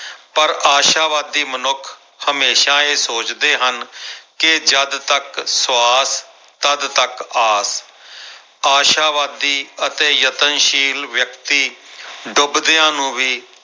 ਪਰ ਆਸ਼ਾਵਾਦੀ ਮਨੁੱਖ ਹਮੇਸ਼ਾ ਇਹ ਸੋਚਦੇ ਹਨ ਕਿ ਜਦ ਤੱਕ ਸਵਾਸ ਤੱਦ ਤੱਕ ਆਸ ਆਸ਼ਾਵਾਦੀ ਅਤੇ ਯਤਨਸ਼ੀਲ ਵਿਅਕਤੀ ਡੁਬਦਿਆਂ ਨੂੰ ਵੀ